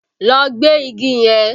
Lọ gbẹ́ igi yẹn!